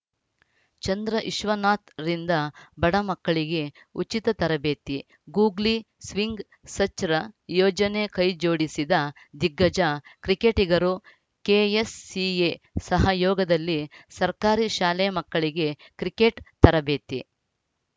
ಚಂದ್ರವಿಶ್ವನಾಥ್‌ರಿಂದ ಬಡ ಮಕ್ಕಳಿಗೆ ಉಚಿತ ತರಬೇತಿ ಗೂಗ್ಲಿ ಸ್ವಿಂಗ್‌ ಸಚ್‌ರ್‍ ಯೋಜನೆ ಕೈಜೋಡಿಸಿದ ದಿಗ್ಗಜ ಕ್ರಿಕೆಟಿಗರು ಕೆಎಸ್‌ಸಿಎ ಸಹಯೋಗದಲ್ಲಿ ಸರ್ಕಾರಿ ಶಾಲೆ ಮಕ್ಕಳಿಗೆ ಕ್ರಿಕೆಟ್‌ ತರಬೇತಿ